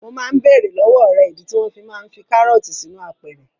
Mo máa ń bèèrè lọ́wọ́ rẹ̀ ìdí tí wọ́n fi máa ń fi karọọti sínú apẹ̀rẹ̀.